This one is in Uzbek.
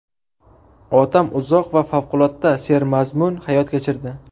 Otam uzoq va favqulodda sermazmun hayot kechirdi.